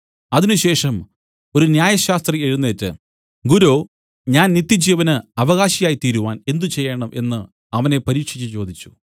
അതിനുശേഷം ഒരു ന്യായശാസ്ത്രി എഴുന്നേറ്റ് ഗുരോ ഞാൻ നിത്യജീവന് അവകാശി ആയിത്തീരുവാൻ എന്ത് ചെയ്യേണം എന്നു അവനെ പരീക്ഷിച്ച് ചോദിച്ചു